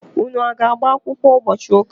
Unu aga-agbakwụkwọ ụbọchi ụka?